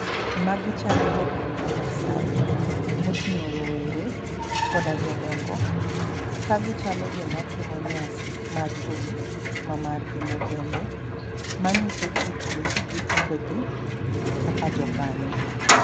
Magi chalo jogweng' ma Masaai moting'o rowere koda jodongo .Ka gichalo joma timo nyasi mar thum mamargi ma kende ma ng'iso kitgi gi timbe gi kaka jokanyo.